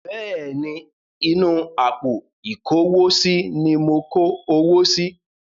Bẹ́ẹ̀ ni, inú àpò ìkówósí ní mo kó owó si.